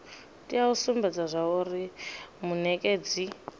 tea u sumbedza zwauri munekedzi